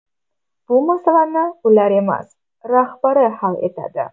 Bu masalani ular emas, rahbari hal etadi.